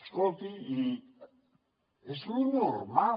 escolti i és lo normal